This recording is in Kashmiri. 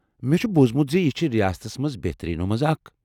مےٚ چھ بوٗزمُت زِ یہِ چھِ ریاستس منٛز بہتٔریٖنو منٛز اکھ ۔